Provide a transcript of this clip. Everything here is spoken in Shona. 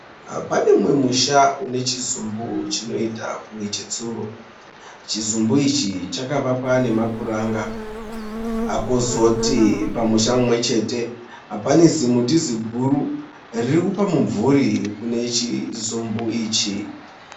Pane umwe musha une chizumbu chinoita kunge chetsuro. Chizumbu ichi chakavakwa nemapuranga. Kozoti pamusha mumwe chete pane zimuti ziguru riri kupa mumvuri kune chizumbu ichi.